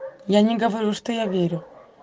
я не говорю что я верю